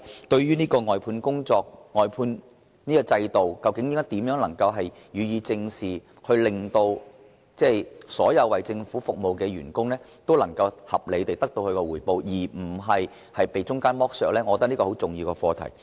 對於外判制度，究竟如何能夠予以正視，令所有為政府服務的員工都能得到合理回報而不被中間剝削，我認為這是十分重要的課題。